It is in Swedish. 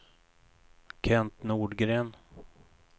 Kent Nordgren